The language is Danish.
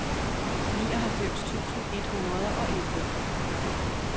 nioghalvfems tusind et hundrede og elleve